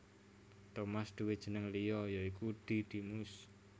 Tomas duwé jeneng liya ya iku Didimus